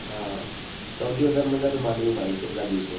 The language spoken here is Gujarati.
હા સૌથી વધારે મજા તો માંડવી મા આયી છેલ્લા દિવસે